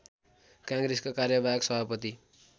काङ्ग्रेसका कार्यवाहक सभापति